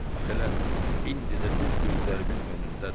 Bax elə indi də düz gözlərimin önündədir.